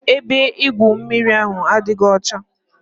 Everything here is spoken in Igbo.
Ebe igwu mmiri ahụ adịghị ọcha.